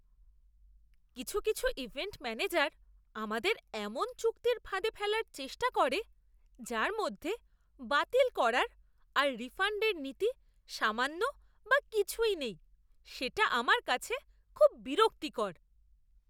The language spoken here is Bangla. কিছু কিছু ইভেন্ট ম্যানেজার আমাদের এমন চুক্তির ফাঁদে ফেলার চেষ্টা করে যার মধ্যে বাতিল করার আর রিফাণ্ডের নীতি সামান্য বা কিছুই নেই, সেটা আমার কাছে খুব বিরক্তিকর!